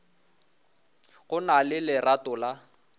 go na le lerato la